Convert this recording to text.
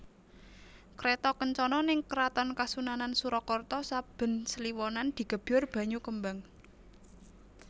Kreto kencono ning Keraton Kasunanan Surakarta saben kliwonan digebyur banyu kembang